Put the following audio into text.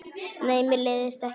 Nei, mér leiðist ekki.